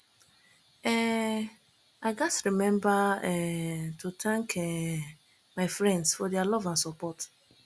um i gats remember um to thank um my friends for their love and support